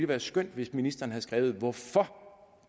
været skønt hvis ministeren havde skrevet hvorfor